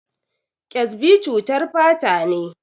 Ƙyasbi cutar fata ne.